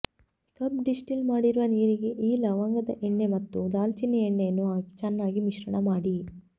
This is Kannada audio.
ಕಪ್ ಡಿಸ್ಟಿಲ್ ಮಾಡಿರುವ ನೀರಿಗೆ ಈ ಲವಂಗದ ಎಣ್ಣೆ ಮತ್ತು ದಾಲ್ಚಿನ್ನಿ ಎಣ್ಣೆಯನ್ನು ಹಾಕಿ ಚೆನ್ನಾಗಿ ಮಿಶ್ರಣ ಮಾಡಿ